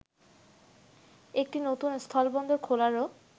একটি নতুন স্থলবন্দর খোলারও